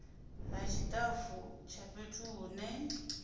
ha tshitafu tsha fhethu hune